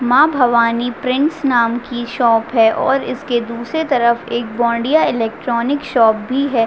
माँ भवानी प्रिंट्स नाम की शॉप है और इसके दुसरे तरफ एक बोंदिया इलेक्ट्रॉनिक्स शॉप भी है।